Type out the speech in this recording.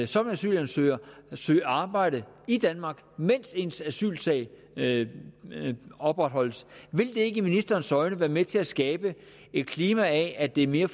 som asylansøger kan søge arbejde i danmark mens ens asylsag opretholdes vil det ikke i ministerens øjne være med til at skabe et klima af at det er mere